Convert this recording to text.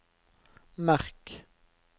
merk